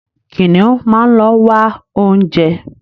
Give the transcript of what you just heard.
Kìnìún máa ń ló wá oúnjẹ.